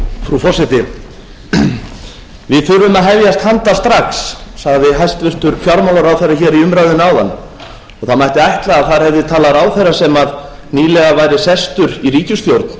frú forseti við þurfum að hefjast handa strax sagði hæstvirtur fjármálaráðherra hér í umræðunni áðan og það mætti ætla að þar hefði talað ráðherra sem nýlega væri sestur í ríkisstjórn